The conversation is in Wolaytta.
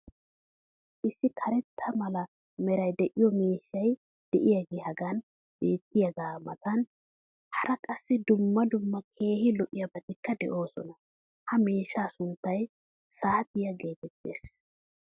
Issi karetta mala meray de'iyo miishshay diyaagee hagan beetiyaagaa matan hara qassi dumma dumma keehi lo'iyaabatikka de'oosona. Ha miishshaa sunttay saatiyaa geetettees.